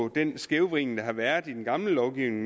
en skævvridning der har været i den gamle lovgivning